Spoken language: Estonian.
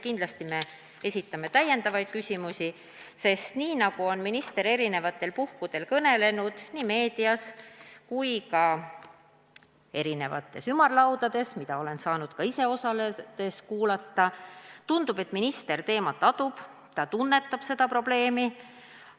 Kindlasti esitame ka lisaküsimusi, sest kui mõelda, millest minister on mitmetel puhkudel kõnelenud nii meedias kui ka ümarlaudades, mida olen saanud ka ise osaledes kuulata, tundub, et ta teemat adub ja tunnetab seda probleemi.